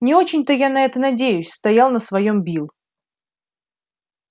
не очень то я на это надеюсь стоял на своём билл